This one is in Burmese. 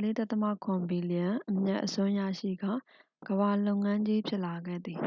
၄.၇ ဘီလျံ အမြတ်အစွန်းရရှိကာ ကမ္ဘာလုပ်ငန်းကြီး ဖြစ်လာခဲ့သည်။